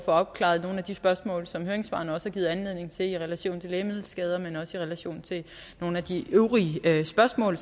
opklaret nogle af de spørgsmål som høringssvarene også har givet anledning til i relation til lægemiddelskader men også i relation til nogle af de øvrige spørgsmål